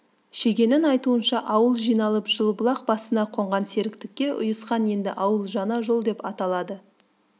шегенің айтуынша ауыл жиналып жылыбұлақ басына қонған серіктікке ұйысқан енді ауыл жаңа жол деп аталады